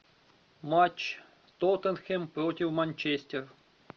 матч тоттенхэм против манчестер